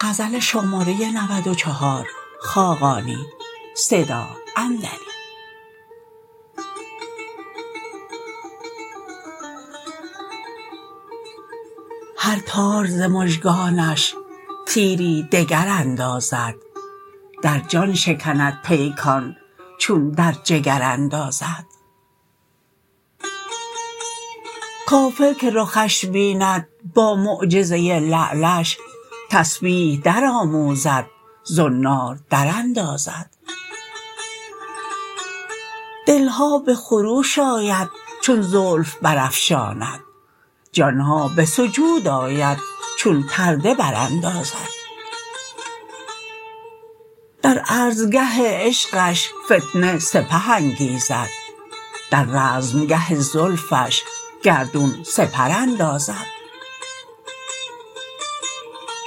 هر تار ز مژگانش تیری دگر اندازد در جان شکند پیکان چون در جگر اندازد کافر که رخش بیند با معجزه لعلش تسبیح درآموزد زنار دراندازد دل ها به خروش آید چون زلف برافشاند جان ها به سجود آید چون پرده براندازد در عرضگه عشقش فتنه سپه انگیزد در رزمگه زلفش گردون سپر اندازد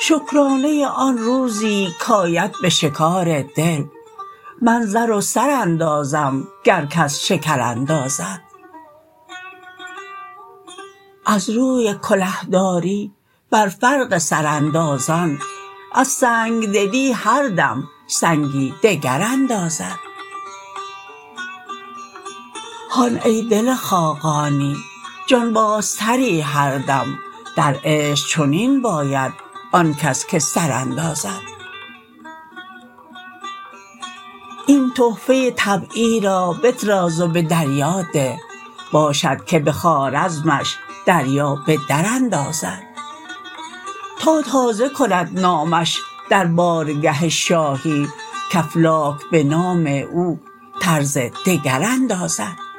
شکرانه آن روزی کاید به شکار دل من زر و سر اندازم گر کس شکر اندازد از روی کله داری بر فرق سراندازان از سنگ دلی هر دم سنگی دگر اندازد هان ای دل خاقانی جانبازتری هر دم در عشق چنین باید آن کس که سر اندازد این تحفه طبعی را بطراز و به دریا ده باشد که به خوارزمش دریا به در اندازد تا تازه کند نامش در بارگه شاهی که افلاک به نام او طرز دگر اندازد